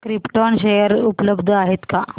krypton share उपलब्ध आहेत का